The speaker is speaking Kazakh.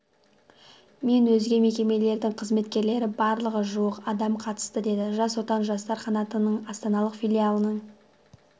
мен өзге мекемелердің қызметкерлері барлығы жуық адам қатысты деді жас отан жастар қанатының астаналық филиалының